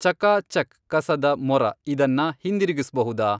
ಚಕಾ ಚಕ್ ಕಸದ ಮೊರ ಇದನ್ನ ಹಿಂದಿರುಗಿಸ್ಬಹುದಾ?